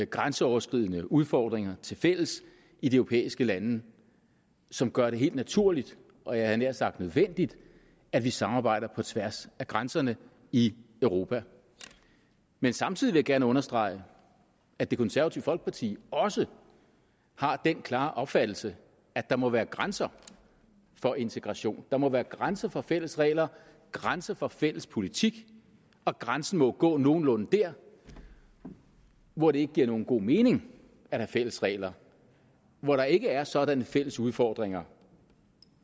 grænseoverskridende udfordringer tilfælles i de europæiske lande som gør det helt naturligt og jeg havde nær sagt nødvendigt at vi samarbejder på tværs af grænserne i europa men samtidig vil jeg gerne understrege at det konservative folkeparti også har den klare opfattelse at der må være grænser for integration at der må være grænser for fælles regler grænser for fælles politik og grænsen må gå nogenlunde der hvor det ikke giver nogen god mening at have fælles regler hvor der ikke er sådanne fælles udfordringer